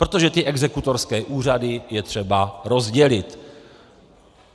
Protože ty exekutorské úřady je třeba rozdělit.